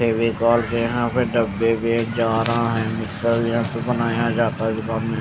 फेविकोल के यहा पे डब्बे बेचा रहा है --